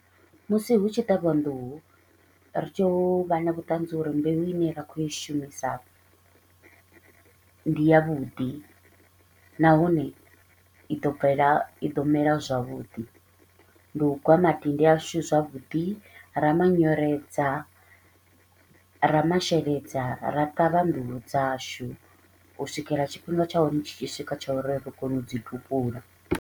Musi hu tshi ṱavhiwa nḓuhu, ri tea u vha na vhuṱanzi uri mbeu i ne ra kho i shumisa ndi ya vhuḓi nahone i ḓo bvela i ḓo mela zwavhuḓi. Ndi u gwa madindi ashu zwavhuḓi, ra manyoredza, ra masheledza, ra ṱavha nḓuhu dzashu u swikela tshifhinga tsha hone tshi tshi swika tsha uri ri kone u dzi tupula.